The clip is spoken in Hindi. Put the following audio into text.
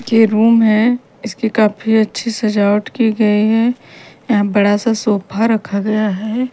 ये रूम है इसकी काफी अच्छी सजावट की गई हैं यहां बड़ा सा सोफा रखा गया है।